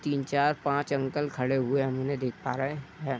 तीन चार पांच अंकल खड़े हुए हम उन्हें देख पा रहे है।